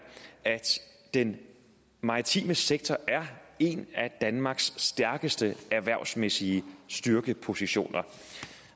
at den maritime sektor er en af danmarks stærkeste erhvervsmæssige styrkepositioner